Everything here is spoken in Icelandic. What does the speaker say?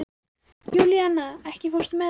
Júlíana, ekki fórstu með þeim?